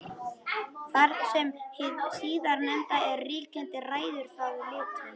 Þar sem hið síðarnefnda er ríkjandi ræður það litnum.